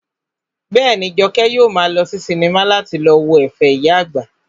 Bẹ́ẹ̀ni, Jọkẹ́ yóò maa lọ sí sinimá láti lọ wo ẹ̀fẹ̀ ìyá àgbà titun